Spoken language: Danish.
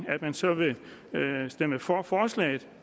at man så vil stemme for forslaget